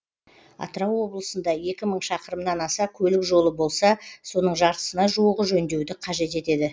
атырау облысында екі мың шақырымнан аса көлік жолы болса соның жартысына жуығы жөндеуді қажет етеді